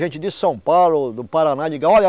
Gente de São Paulo, do Paraná ligavam. olha